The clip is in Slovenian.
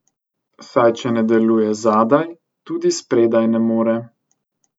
Saj če ne deluje zadaj, tudi spredaj ne more.